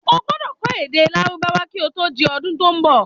O gbọdọ̀ kó̩ èdè lárúbáwá ki o to di ọdun to n bọ̀